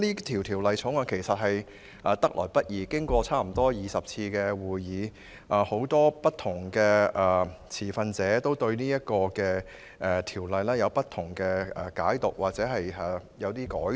《條例草案》得來不易，經過差不多20次會議商討，很多持份者對《條例草案》有不同解讀，而《條例草案》也有一些改動。